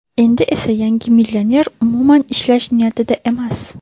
Endi esa yangi millioner umuman ishlash niyatida emas.